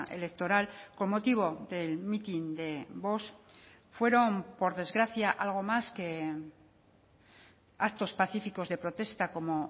electoral con motivo del mitin de vox fueron por desgracia algo más que actos pacíficos de protesta como